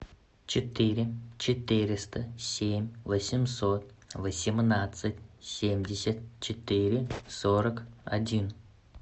четыре четыреста семь восемьсот восемнадцать семьдесят четыре сорок один